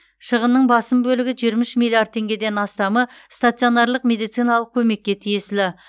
шығынның басым бөлігі жиырма үш миллиард теңгеден астамы стационарлық медициналық көмекке тиесілі